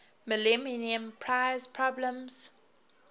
millennium prize problems